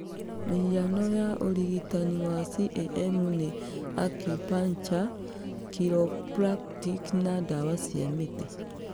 Mihiano ya ũrigitani wa CAM nĩ acupuncture, chiropractic na ndawa cia mĩtĩ.